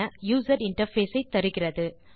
user interface ஐ தருகிறது